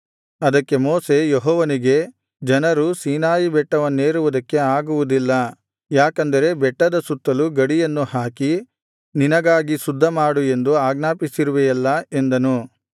ಅದಕ್ಕೆ ಮೋಶೆ ಯೆಹೋವನಿಗೆ ಜನರು ಸೀನಾಯಿ ಬೆಟ್ಟವನ್ನೇರುವುದಕ್ಕೆ ಆಗುವುದಿಲ್ಲ ಯಾಕೆಂದರೆ ಬೆಟ್ಟದ ಸುತ್ತಲೂ ಗಡಿಯನ್ನು ಹಾಕಿ ನಿನಗಾಗಿ ಶುದ್ಧಮಾಡು ಎಂದು ಆಜ್ಞಾಪಿಸಿರುವೆಯಲ್ಲಾ ಎಂದನು